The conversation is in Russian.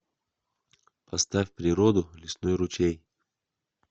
поставь природу лесной ручей